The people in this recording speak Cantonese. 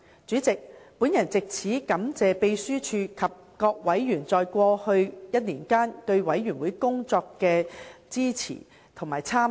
主席，我藉此感謝秘書處及各委員在過去1年間對事務委員會工作的支持和參與。